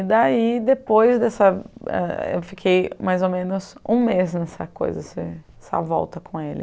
E daí, depois dessa... eu fiquei mais ou menos um mês nessa coisa, essa essa volta com ele.